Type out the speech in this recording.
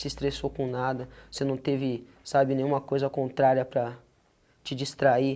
se estressou com nada, você não teve, sabe, nenhuma coisa contrária para te distrair.